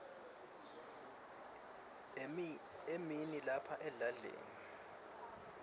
emini lapha edladleni